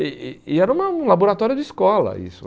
E e e era uma um laboratório de escola isso.